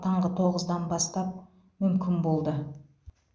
таңғы тоғыздан бастап мүмкін болды